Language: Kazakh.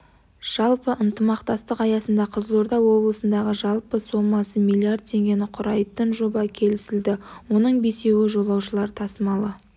жалпы ынтымақтастық аясында қызылорда облысындағы жалпы сомасы миллиард теңгені құрайтын жоба келісілді оның бесеуі жолаушылар тасымалы